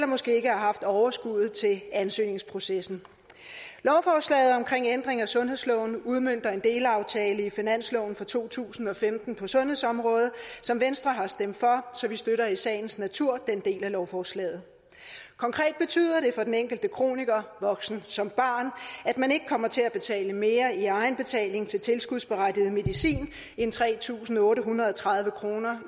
måske ikke har haft overskuddet til ansøgningsprocessen lovforslaget om ændring af sundhedsloven udmønter en delaftale i finansloven for to tusind og femten på sundhedsområdet som venstre har stemt for så vi støtter i sagens natur den del af lovforslaget konkret betyder det for den enkelte kroniker voksen som barn at man ikke kommer til at betale mere i egenbetaling til tilskudsberettiget medicin end tre tusind otte hundrede og tredive kroner